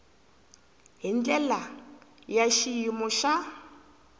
hi ndlela ya xiyimo xa